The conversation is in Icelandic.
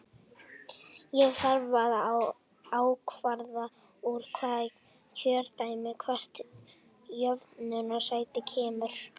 Þá þarf að ákvarða úr hvaða kjördæmi hvert jöfnunarsæti kemur.